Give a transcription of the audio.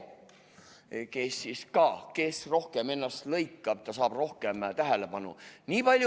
Kes ennast rohkem lõikab, see saab rohkem tähelepanu.